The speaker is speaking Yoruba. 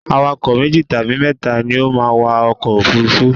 Awakọ̀ meji tabi mẹ́ta ni o ma n wa ọkọ̀ òfurufú